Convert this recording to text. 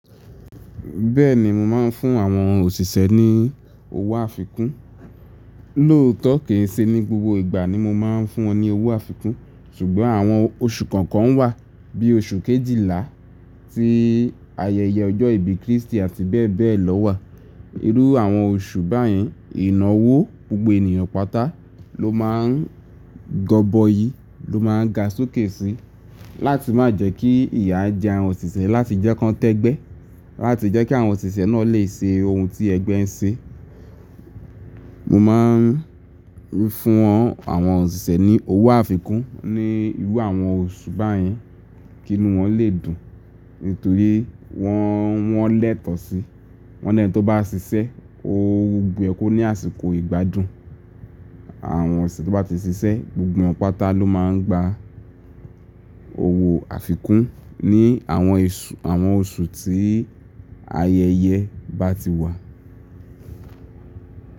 Bẹ́ẹ̀ni mo máa ń fún àwọn òṣìṣẹ́ ní owó àfikún. Lóòtọ́ kì í ṣe ní gbogbo ìgbà ni mo máa ń fún wọn ní owó àfikún ṣùgbọ́n àwọn oṣù kọ̀ọ̀kan wà bí i oṣù kejìlá tí ayẹyẹ ọjọ́ ìbí Kristi àti bẹ́ẹ̀ bẹ́ẹ̀ lọ wà. Irú àwọn oṣù báyẹn ìnáwó gbogbo ènìyàn pátá ló máa ń gọ́bọ̀í ló máa ń ga sókè si láti má jẹ́ kí ìyà jẹ àwọn òṣìṣẹ́ láti jẹ́ kí wọ́n tẹ́gbẹ́ láti jẹ́ kí àwọn òṣìṣẹ́ náà lè ṣe ohun tí ẹgbẹ́ ń ṣe. Mo máa ń fún àwọn òṣìṣẹ́ ní owó àfikún ní irú àwọn oṣù báyẹn kí inú wọn lè dùn nítorí wọ́n, wọ́n lẹ́tọ̀ọ́ sí, wọ́n lẹ́ n tọ́ bá ń ṣiṣẹ́ o yẹ kó ní àsìkò ìgbádùn. Àwọn ẹṣin tó bá ti ṣiṣẹ́ gbogbo wọn pátá ló máa ń gba owó àfikún ní àwọn eṣù, àwọn oṣù tí ayẹyẹ bá ti wà.